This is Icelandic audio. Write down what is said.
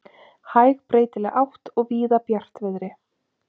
Hæg breytileg átt og víða bjartviðri